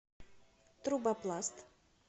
трубопласт